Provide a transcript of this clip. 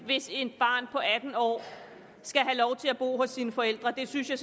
hvis et barn på atten år skal have lov til at bo hos sine forældre det synes jeg